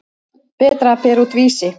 Berta að bera út Vísi.